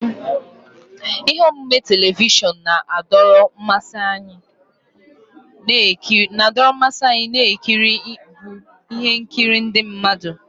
Ihe omume telivishọn na-adọrọ mmasị anyị na-ekiri bụ ihe nkiri ndị mmadụ.